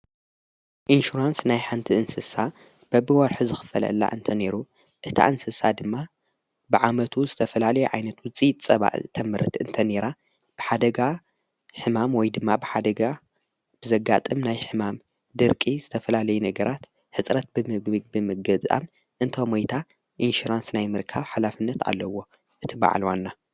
ኢንሽራንስ ናይ ሓንቲ እንስሳ በብወርሕ ዚኽፈልላ እንተ ነይሩ እቲ እንስሳ ድማ ብዓመቱ ዝተፈላለ ዓይነት ውፂ ጸባእ ተምህርት እንተ ነራ ብሓደጋ ሕማም ወይ ድማ ብሓደጋ ብዘጋጥም ናይ ሕማም ድርቂ ዝተፈላለይ ነገራት ሕጽረት ብምግብግ ብምገጻም እንተ ሞይታ ኢንሽራንስ ናይ ምርካ ሓላፍነት ኣለዎ እቲበዓልዋና::